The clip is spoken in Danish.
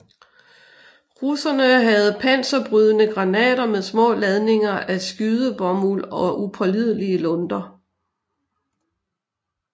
Russerne havde panserbrydende granater med små ladninger af skydebomuld og upålidelige lunter